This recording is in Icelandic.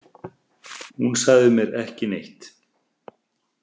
Hún sagði mér ekki neitt.